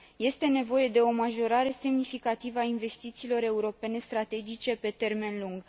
Este nevoie de o majorare semnificativă a investițiilor europene strategice pe termen lung.